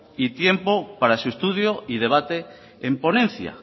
y tiempo para su estudio y debate en ponencia